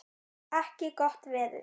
ekki gott veður.